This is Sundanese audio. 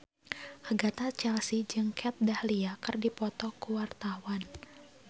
Agatha Chelsea jeung Kat Dahlia keur dipoto ku wartawan